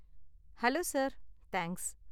Hello, sir! Thanks.